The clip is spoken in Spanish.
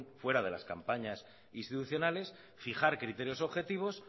fuera de las campañas institucionales fijar criterios objetivos